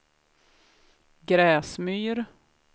Gräsmyr